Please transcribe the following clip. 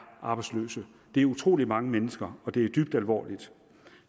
arbejdsløs det er utrolig mange mennesker og det er dybt alvorligt